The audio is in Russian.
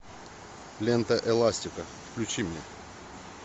лента эластика включи мне